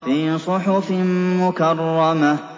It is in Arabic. فِي صُحُفٍ مُّكَرَّمَةٍ